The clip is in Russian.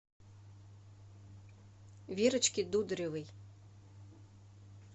верочке дударевой